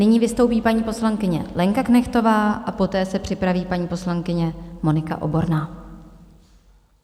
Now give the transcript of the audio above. Nyní vystoupí paní poslankyně Lenka Knechtová a poté se připraví paní poslankyně Monika Oborná.